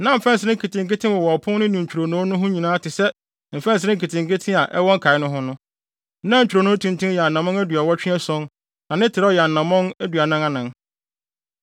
Na mfɛnsere nketenkete wowɔ ɔpon no ne ntwironoo no ho nyinaa te sɛ mfɛnsere nketenkete a ɛwɔ nkae no ho no. Na ntwironoo no tenten yɛ anammɔn aduɔwɔtwe ason na ne trɛw yɛ anammɔn aduanan anan.